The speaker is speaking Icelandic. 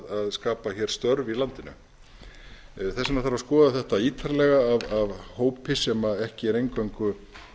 hér störf í landinu þess vegna þarf að skoða þetta ítarlega af hópi sem ekki er eingöngu